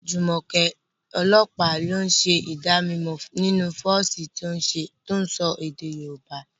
Jumoke, ọlọ́pàá, ń ṣe ìdánimọ̀ nínú fọ́ọ̀sì tó ń sọ èdè Yorùbá.